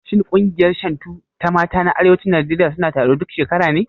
Shin ƙungiyar Shantu ta mata na arewacin Najeriya suna taro duk shekara ne?